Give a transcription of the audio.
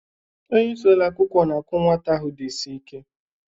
Onye isi ụlọ akwụkwọ na-akụ nwata ahụ dị isi ike